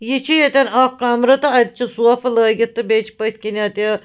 .یہِ چُھ ییٚتٮ۪ن اکھ کمر تہٕ اَتہِ چھ سوفہٕ لٲگِتھ تہٕ بیٚیہِ چھ پٔتھۍ کِنۍ اَتہِ